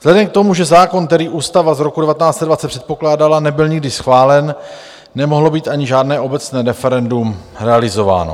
Vzhledem k tomu, že zákon, který Ústava z roku 1920 předpokládala, nebyl nikdy schválen, nemohlo být ani žádné obecné referendum realizováno.